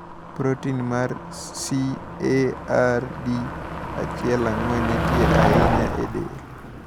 Protin mar CARD14 nitie ahinya e del.